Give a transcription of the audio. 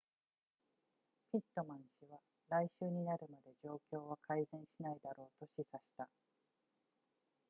ピットマン氏は来週になるまで状況は改善しないだろうと示唆した